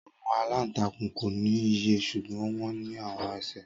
Awọn alantakun ko ni iyẹ ṣugbọn wọn ni awọn ẹsẹ.